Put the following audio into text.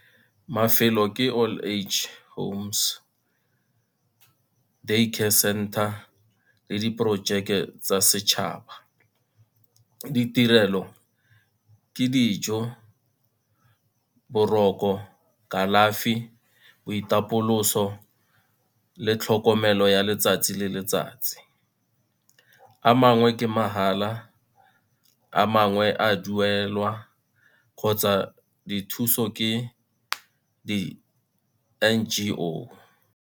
Mafelo ke old age homes, day care center le diporojeke tsa setšhaba. Ditirelo ke dijo, boroko, kalafi boitapoloso le tlhokomelo ya letsatsi le letsatsi. A mangwe ke mahala a mangwe a duelwa kgotsa dithuso ke di-N_G_O.